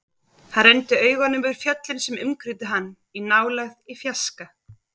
Hann renndi augunum yfir fjöllin sem umkringdu hann, í nálægð, í fjarska.